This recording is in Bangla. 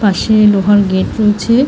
পাসে লোহার গেট রয়েছে ।